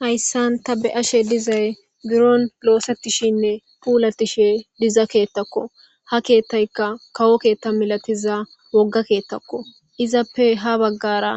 Hayisan ta be ashe dizayi biron losetishene pulatishe diza kethako ha kethayika kawo ketha milatiza woga kethako izappe ha bagara